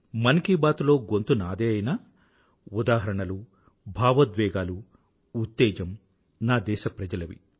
మన్ కీ బాత్ లో గొంతు నాదే అయినా ఉదాహరణలు భావోద్వేగాలు ఉత్తేజం నా దేశప్రజలవి